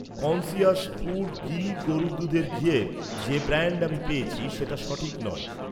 Conscious food Gir গরুর দুধের ঘিয়ের যে ব্র্যান্ড আমি পেয়েছি সেটা সঠিক নয়।